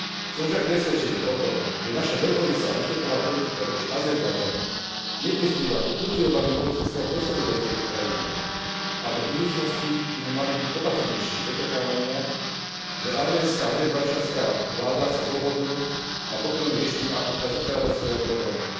Som však presvedčený o tom, že naša veľkorysá ústretová politika voči Azerbajdžanu neprispieva ku kultivovaniu politického prostredia v tejto krajine a do budúcnosti by sme mali byť opatrnejší v očakávaniach, že arménska a azerbajdžanská vláda sa dohodnú na pokojnom riešení karabachského problému.